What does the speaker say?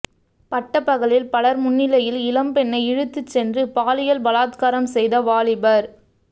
பட்ட பகலில் பலர் முன்னிலையில் இளம் பெண்ணை இழுத்து சென்று பாலியல்பலாத்காரம் செய்த வாலிபர்